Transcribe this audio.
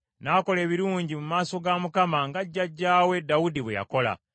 N’akola ebirungi mu maaso ga Mukama nga jjajjaawe Dawudi bwe yakola.